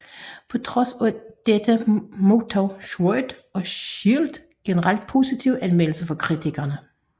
På trods af dette modtog Sword og Shield generelt positive anmeldelser fra kritikere